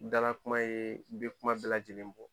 Dala kuma yer n be kuma bɛɛ lajɛlen bɔ